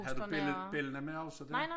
Havde du belli bellana med også dér?